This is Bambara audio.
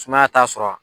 Sumaya t'a sɔrɔ